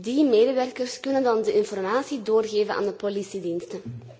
Die medewerkers kunnen dan de informatie doorgeven aan de politiediensten.